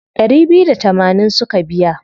Ɗari biyu da tamanin suka biya.